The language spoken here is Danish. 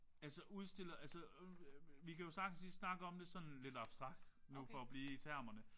Altså udstiller. Altså vi kan jo sagtens lige snakke om det sådan lidt abstrakt nu for at blive i termerne